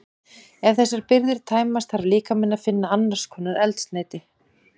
Ef þessar birgðir tæmast þarf líkaminn að finna annars konar eldsneyti.